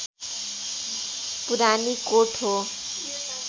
पुरानीकोट हो